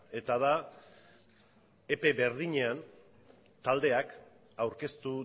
eta da epe berdinean taldeak aurkeztu